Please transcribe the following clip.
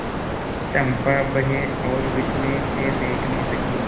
चंपा भय और विस्मय से देखने लगी